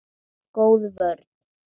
Góð vörn.